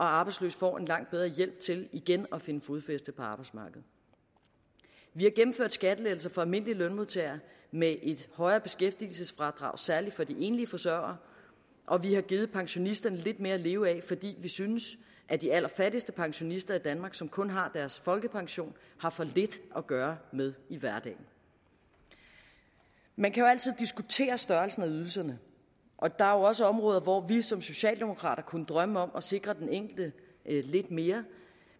arbejdsløse får en langt bedre hjælp til igen at finde fodfæste på arbejdsmarkedet vi har gennemført skattelettelser for almindelige lønmodtagere med et højere beskæftigelsesfradrag særlig for de enlige forsørgere og vi har givet pensionisterne lidt mere at leve af fordi vi synes at de allerfattigste pensionister i danmark som kun har deres folkepension har for lidt at gøre med i hverdagen man kan jo altid diskutere størrelsen af ydelserne og der er også områder hvor vi som socialdemokrater kunne drømme om at sikre den enkelte lidt mere